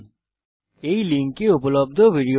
এই লিঙ্কে উপলব্ধ ভিডিও টি দেখুন